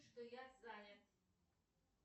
что я занят